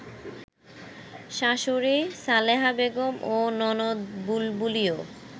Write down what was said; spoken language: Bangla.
শাশুড়ি সালেহা বেগম ও ননদ বুলবুলিও